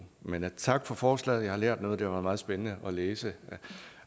men tak for forslaget jeg har lært noget og det var meget spændende at læse